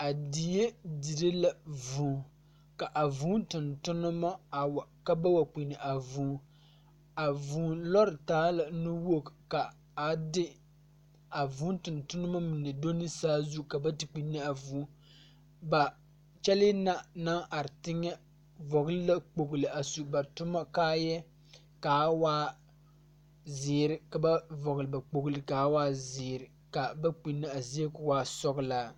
A die dire la vūū ka a vūū tontonnema wa ka ba wa kpini a vūū a vūū lɔre taala nu woge ka a de a vūū tontonnema mine do ne saazu ka ba te kpinne a vūū ba kyɛlee na naŋ are teŋɛ vɔgle la kpogle a su ba toma kaayɛɛ kaa waa zeere ka ba vɔgle ba kpogle kaa waa zeere ka a ba kpinne a zie ko waa sɔglaa.